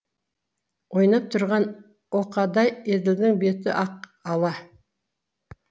ойнап тұрған оқадай еділдің беті ақ ала